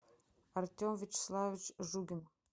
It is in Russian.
артем вячеславович жугин